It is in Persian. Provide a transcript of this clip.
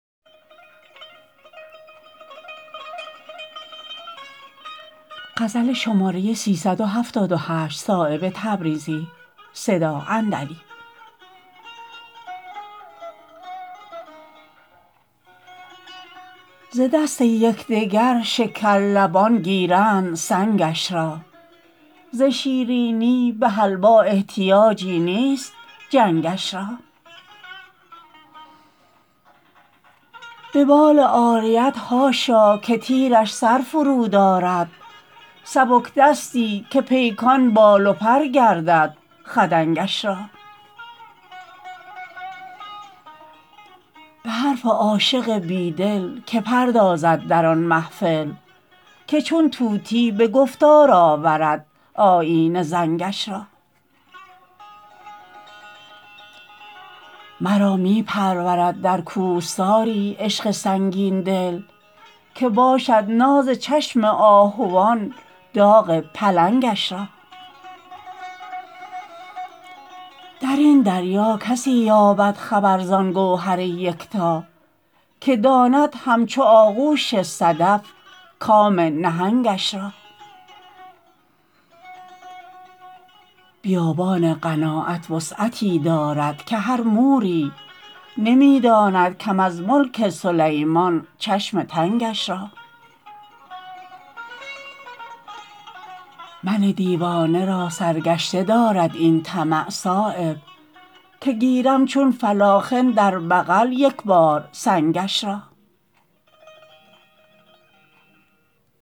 ز دست یکدگر شکرلبان گیرند سنگش را ز شیرینی به حلوا احتیاجی نیست جنگش را به بال عاریت حاشا که تیرش سر فرود آرد سبکدستی که پیکان بال و پر گردد خدنگش را به حرف عاشق بیدل که پردازد در آن محفل که چون طوطی به گفتار آورد آیینه زنگش را مرا می پرورد در کوهساری عشق سنگین دل که باشد ناز چشم آهوان داغ پلنگش را درین دریا کسی یابد خبر زان گوهر یکتا که داند همچو آغوش صدف کام نهنگش را بیابان قناعت وسعتی دارد که هر موری نمی داند کم از ملک سلیمان چشم تنگش را من دیوانه راسرگشته دارد این طمع صایب که گیرم چون فلاخن در بغل یک بار سنگش را